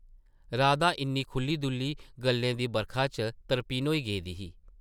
राधा इʼन्नी खुʼल्ली-दुʼल्ली गल्लें दी बरखा च तरपिन्न होई गेदी ही ।